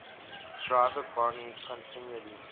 driver boni continually